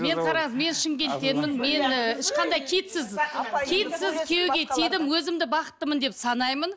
мен қараңыз мен шымкенттенмін мен ыыы ешқандай киітсіз киітсіз күйеуге тидім өзімді бақыттымын деп санаймын